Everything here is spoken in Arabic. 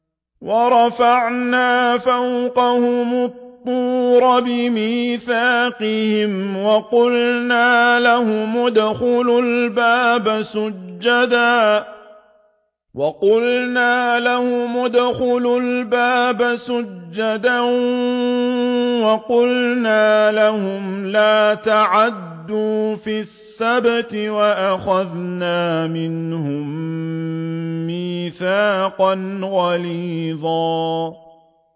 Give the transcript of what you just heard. وَرَفَعْنَا فَوْقَهُمُ الطُّورَ بِمِيثَاقِهِمْ وَقُلْنَا لَهُمُ ادْخُلُوا الْبَابَ سُجَّدًا وَقُلْنَا لَهُمْ لَا تَعْدُوا فِي السَّبْتِ وَأَخَذْنَا مِنْهُم مِّيثَاقًا غَلِيظًا